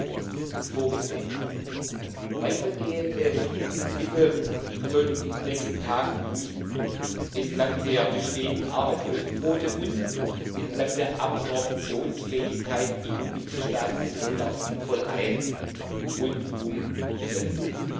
EUR vorgesehen. Weitergehende Mittel sollten wir in den nächsten Tagen prüfen, entlang der bestehenden Arbeitslosenquote und entlang der Absorptionsfähigkeit in den Mitgliedstaaten, das Geld auch sinnvoll ein und umzusetzen.